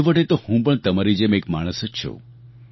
છેવટે તો હું પણ તમારી જેમ એક માણસ જ છું